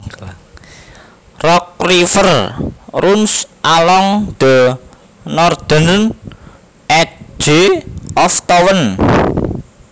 Rock River runs along the northern edge of town